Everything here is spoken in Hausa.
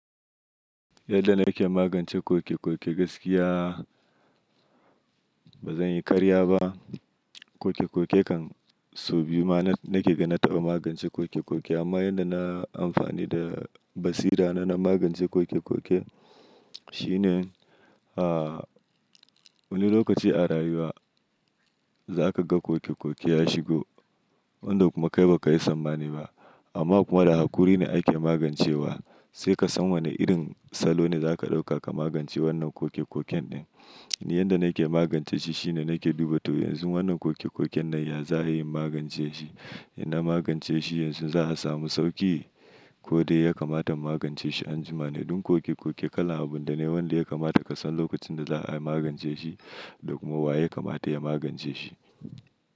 Yadda nake magance koke-koke gaskiya ba zanyi karya ba. Koke-koke kan so biyu ma nake ga na taɓa magance koke-koke amma yadda na amfani da basira na, na magance koke-koke shine wani lokaci a rayuwa zakaga koke-koke ya shigo wanda kuma kai bakayi sammani ba amma kuma da hakuri ne ake magancewa sai kasan wane irin salo ne zaka ɗauka ka magance wannan koke-koken ɗin. Yanda na ke magance shi shine na ke duba to yanzu wannan koke-koken na yaza ayi in magance shi? In na magance shi yanzu za a samu sauki ko dai ya kamata magance shi anjima? Don koke-koke kala, abunda ne wanda ya kamata ka san lokacin da za ayi magance shi da kuma wa ya kamata ya magance shi.